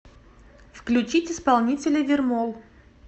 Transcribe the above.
включить исполнителя вермол